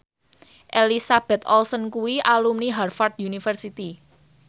Elizabeth Olsen kuwi alumni Harvard university